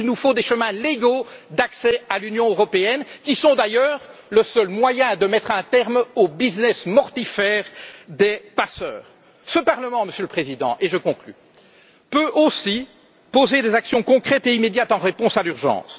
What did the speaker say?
Oui, il nous faut des chemins légaux d'accès à l'Union européenne, qui sont d'ailleurs le seul moyen de mettre un terme au business mortifère des passeurs. Ce parlement, Monsieur le Président et je conclus peut aussi proposer des actions concrètes et immédiates en réponse à l'urgence.